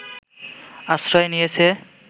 আশ্রয় নিয়েছে